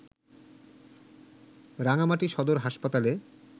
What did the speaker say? রাঙ্গামাটি সদর হাসপাতালে